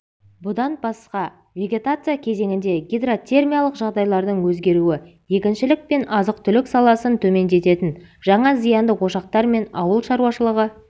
бұдан басқа вегетация кезеңінде гидротермиялық жағдайлардың өзгеруі егіншілік пен азық-түлік сапасын төмендететін жаңа зиянды ошақтар мен ауыл шаруашылығы